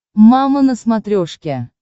мама на смотрешке